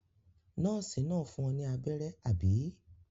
Nọ́ọ́sì náà fún ọ ní abẹ́rẹ́, àbí?